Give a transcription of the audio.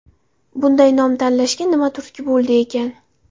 Bunday nom tanlashga nima turtki bo‘ldi ekan?